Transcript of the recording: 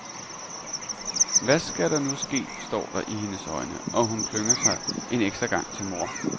Hvad skal der nu ske, står der i hendes øjne, og hun klynger sig en ekstra gang til mor.